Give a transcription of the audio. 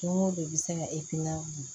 Don o don bi se ka